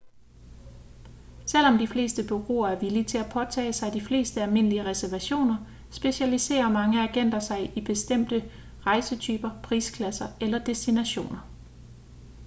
selvom de fleste bureauer er villige til at påtage sig de fleste almindelige reservationer specialiserer mange agenter sig i bestemte rejsetyper prisklasser eller destinationer